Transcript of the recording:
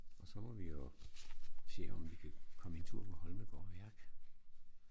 Og så må vi jo se om vi kan komme en tur på Holmegaard Værk